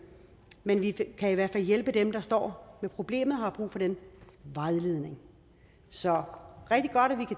men vi kan i hvert fald hjælpe dem der står med problemet og har brug for den vejledning så